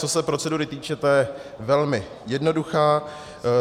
Co se procedury týče, ta je velmi jednoduchá.